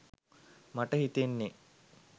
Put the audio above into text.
මට හිතෙන්නෙ.